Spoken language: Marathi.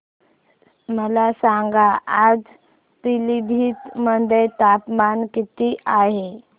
मला सांगा आज पिलीभीत मध्ये तापमान किती आहे